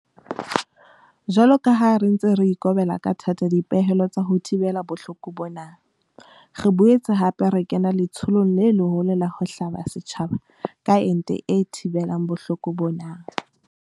Jwalo ka ha re ntse re ikobela ka thata dipehelo tsa ho thibela bohloko bona, re boetse hape re kena letsholong le leholo la ho hlaba setjhaba ka ente e thibelang bohloko bona.